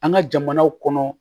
An ka jamanaw kɔnɔ